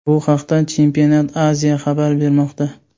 Bu haqda Championat.Asia xabar bermoqda .